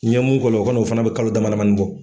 N ye mun k'o la , o kɔni o fana be kalo dama damanin fana bɔ.